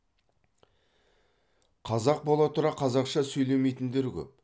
қазақ бола тұра қазақша сөйлемейтіндер көп